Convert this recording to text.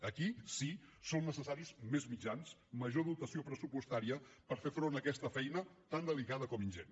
aquí sí són necessaris més mitjans major dotació pressupostària per fer front a aquesta feina tant delicada com ingent